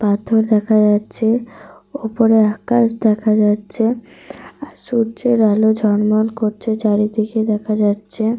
পাথর দেখা যাচ্ছে। ওপরে আকাশ দেখা যাচ্ছে। আর সূর্যের আলো ঝলমল করছে চারিদিকে দেখা যাচ্ছে।